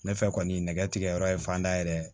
Ne fɛ kɔni nɛgɛtigigɛyɔrɔ ye fanda yɛrɛ ye